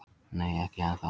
Nei, ekki ennþá.